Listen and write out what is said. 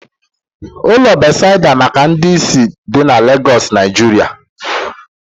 Ụlọ Bethesda maka ndị isi dị n'Legoosu, Naijiria